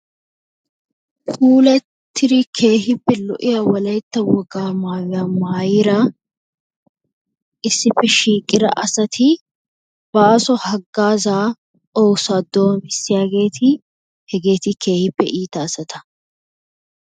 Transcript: Puulattidi keehippe lo''iya wolaytta wogaa maayuwa maayida issippe shiiqida asati baaso haggaazaa oosuwa doomissiyageeti hegeeti keehippe iita asata.